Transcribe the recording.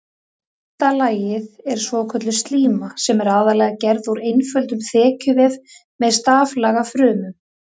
Innsta lagið er svokölluð slíma sem er aðallega gerð úr einföldum þekjuvef með staflaga frumum.